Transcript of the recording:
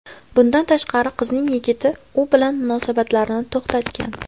Bundan tashqari, qizning yigiti u bilan munosabatlarini to‘xtatgan.